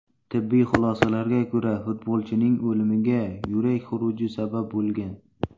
Tibbiy xulosalarga ko‘ra, futbolchining o‘limiga yurak xuruji sabab bo‘lgan.